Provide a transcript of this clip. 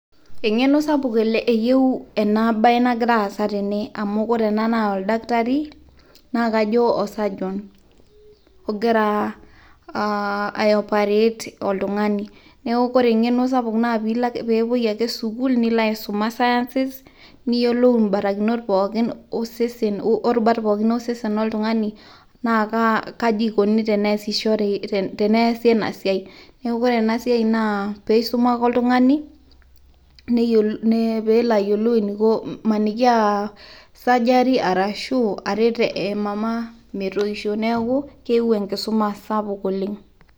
engeno sapuk eyieu ena bae nagira aasa tene, amu ore ena naa oldakitari, naa kajo o surgeon ogira ae operate oltungani. neeku ore engeno sapuk naa pee epuoi ake sukuul, nilo aisuma sciences niyiolou iborakinot pookin osesen. orubat pookin osesen loltungani.na a kaji ikoni teneesishore, kaji ikoni teneese ena siai. neeku ore ena siai naa pee eisuma ake oltungani, pee elo ayiolou, amaniki aa surgery arashu aret emama metoisho, neeku keyieu enkisuma sapuk oleng.